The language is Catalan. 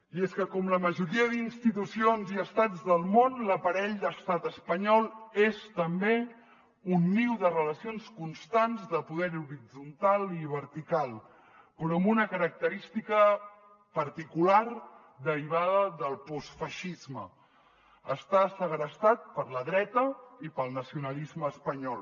i és que com la majoria d’institucions i estats del món l’aparell d’estat espanyol és també un niu de relacions constants de poder horitzontal i vertical però amb una característica particular derivada del postfeixisme està segrestat per la dreta i pel nacionalisme espanyol